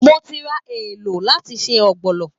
Mo ti ra èlò láti se Ogbono